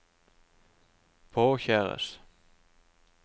påkjæres